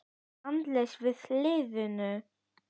Var andleysi í liðinu?